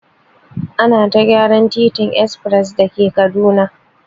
Ana ta gyaran titin espres da ke Kaduna.